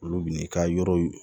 Olu bi n'i ka yɔrɔ